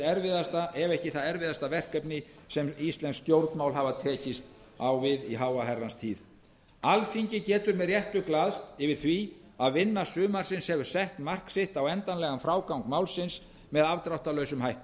erfiðasta ef ekki það erfiðasta verkefni sem íslensk stjórnmál hafa tekist á við alþingi getur með réttu glaðst yfir því að vinna sumarsins hefur sett mark sitt á endanlegan frágang málsins með afdráttarlausum hætti búið